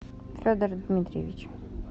федор дмитриевич